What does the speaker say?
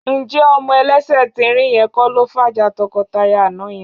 Ǹjẹ́ ọmọ ẹlẹ́sẹ̀ tín-ín-rín yẹn kọ́ ló fàjà tọkọtaya àná yẹn?